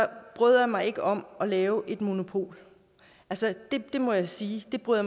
bryder jeg mig ikke om at lave et monopol det må jeg sige det bryder